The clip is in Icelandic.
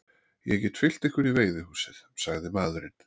Ég get fylgt ykkur í veiðihúsið, sagði maðurinn.